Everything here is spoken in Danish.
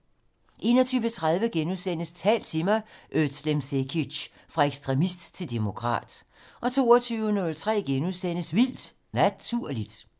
21:03: Tal til mig - Özlem Cekic: Fra ekstremist til demokrat * 22:03: Vildt Naturligt *